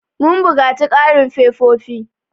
Mun buƙaci ƙarin fefofi.